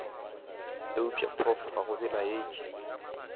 eupša prof ga go belaetše